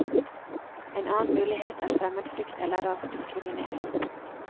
En annen mulighet er fremmedfrykt eller rasediskriminering.